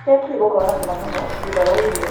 Keki ĩgũkorwo na cama mũno thutha wa irio.